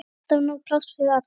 Alltaf nóg pláss fyrir alla.